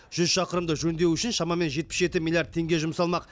жүз шақырымды жөндеу үшін шамамен жетпіс жеті миллиард теңге жұмсалмақ